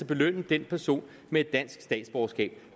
belønne den person med et dansk statsborgerskab